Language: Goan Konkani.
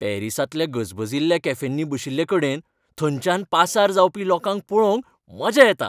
पॅरीसांतल्या गजबजिल्ल्या कॅफेंनी बशिल्लेकडेन थंयच्यान पासार जावपी लोकांक पळोवंक मजा येता.